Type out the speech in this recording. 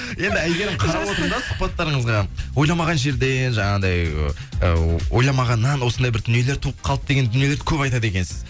енді әйгеріп қарап отырмын да сұхбаттарыңызға ойламаған жерден жаңағындай ыыы ойламағаннан осындай бір дүниелер туып қалды деген дүниелерді көп айтады екенсіз